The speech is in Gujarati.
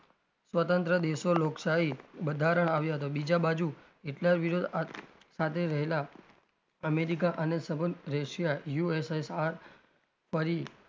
સ્વતંત્ર દેશો લોકશાહી બંધારણ આવ્યો હતો બીજા બાજુ હિટલર વિરોધ સાથે રહેલા અમેરિકા અને સબંધ રશિયા USSR ફરી,